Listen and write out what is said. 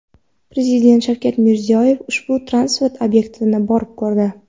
Prezident Shavkat Mirziyoyev ushbu transport obyektini borib ko‘rdi.